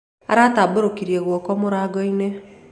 Aratabũrũkĩrĩe gũoko mũrangoĩnĩ